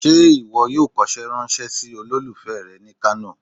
se iwọ yoo kòse ranse sí olòlufé re ni kano?